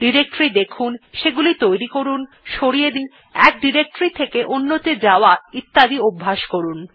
directory দেখুন সেগুলি তৈরী করুন সরিয়ে দিন এক ডিরেক্টরী থেকে অন্য ত়ে যাওয়া ইত্যাদি অভ্যেস করুন